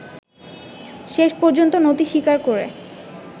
শেষ পর্যন্ত নতি স্বীকার করে